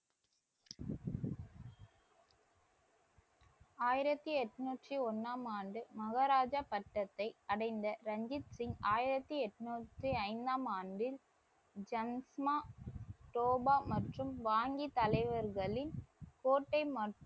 ஆயிரத்தி எண்ணூற்றி ஒண்ணாம் ஆண்டு மகாராஜா பட்டத்தை அடைந்த ரஞ்சித் சிங் ஆயிரத்தி எண்ணூத்தி ஐந்தாம் ஆண்டில் ஜன்க்ச்மா டோபா மற்றும் வாங்கி தலைவர்களின் கோட்டை மற்றும்